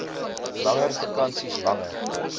langer vakansies langer